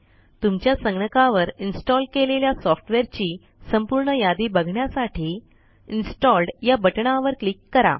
तुमच्या संगणकावर इन्स्टॉल केलेल्या सॉफ्टवेअरची संपूर्ण यादी बघण्यासाठी इन्स्टॉल्ड या बटणावर क्लिक करा